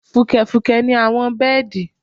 Fùkẹ̀fùkẹ̀ ni àwọn bẹ́ẹ̀dì